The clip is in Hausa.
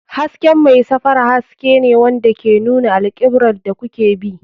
Hasken mai safara haske ne wanda ke nuna alkiblar da kuke bi.